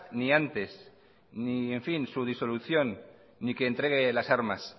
ni antes ni su disolución ni que entregue las armas